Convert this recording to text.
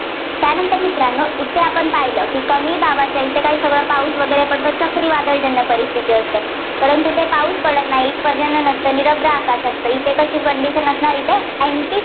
त्यानंतर मित्रांनो इथे आपण पाहिलं की कमी दाबाच्या इथं काय सगळं पाऊस वगैरे पडतो, चक्रीवादळजन्य परिस्थिती असते. परंतु तिथे पाऊस पडत नाही, पर्जन्य नसतं, निरभ्र आकाश असतं. इथं कशी condition असणार इथे anti